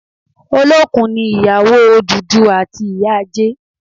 Olókun ni ìyàwó Odùduwà àti ìyá Ajé